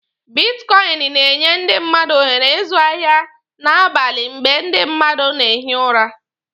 Bitkọịnị na-enye ndị mmadụ ohere ịzụ ahịa n'abali mgbe ndi mmadụ na-ehi ụra.